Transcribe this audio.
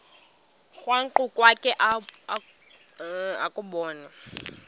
krwaqu kwakhe ubone